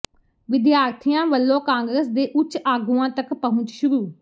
ਵਿਦਿਆਰਥੀਆਂ ਵੱਲੋਂ ਕਾਂਗਰਸ ਦੇ ਉੱਚ ਆਗੂਆਂ ਤਕ ਪਹੁੰਚ ਸ਼ੁਰੂ